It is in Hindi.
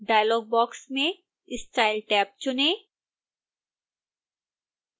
डायलॉग बॉक्स में style टैब चुनें